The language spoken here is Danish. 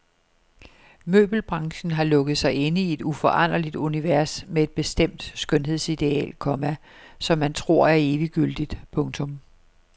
Møbelbranchen har lukket sig inde i et uforanderligt univers med et bestemt skønhedsideal, komma som man tror er eviggyldigt. punktum